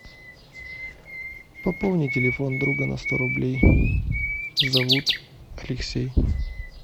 пополни телефон друга на сто рублей зовут алексей